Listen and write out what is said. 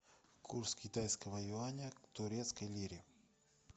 курс китайского юаня к турецкой лире